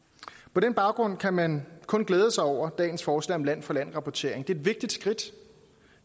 på den baggrund kan man kun glæde sig over dagens forslag om land for land rapportering det er et vigtigt skridt